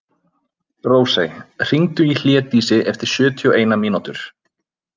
Rósey, hringdu í Hlédísi eftir sjötíu og eina mínútur.